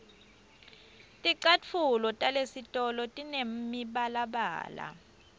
ticatfulo talesitolo tinemibalabala